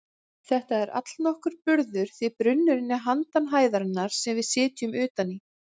Þetta er allnokkur burður því brunnurinn er handan hæðarinnar sem við sitjum utan í.